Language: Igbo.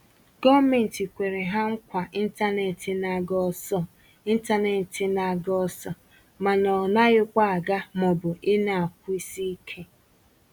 gọọmenti kwere ha nkwa intanetị n'aga ọsọ intanetị n'aga ọsọ mana ọ naghịkwa aga maọbụ i na-akwụsị ike